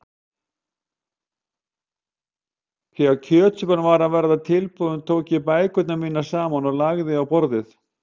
Þegar kjötsúpan var að verða tilbúin tók ég bækurnar mínar saman og lagði á borðið.